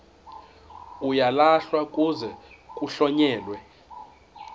uyalahlwa kuze kuhlonyelwe